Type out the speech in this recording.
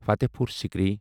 Fatehpur Sikri